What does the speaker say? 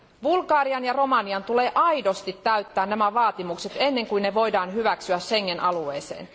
Bulgarian ja Romanian tulee aidosti täyttää nämä vaatimukset ennen kuin ne voidaan hyväksyä Schengen alueeseen.